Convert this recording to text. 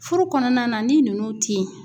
Furu kɔnɔna na ni ninnu tɛ yen